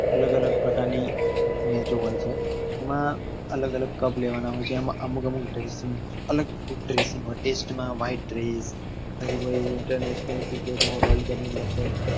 અલગ અલગ પ્રકાર ની match ઓ હોય છે આમાં અલગ અલગ cup લેવાના હોય છે આમાં અમુક અલગ dresing હોય છે જેમ કે test માં white dress, પછી international cricket માં world cup ની match હોય